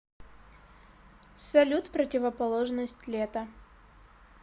салют противоположность лето